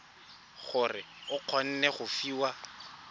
gore o kgone go fiwa